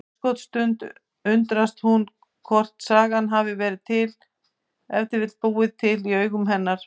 Örskotsstund undrast hún hvort sagan hafi ef til vill búið í augum hennar.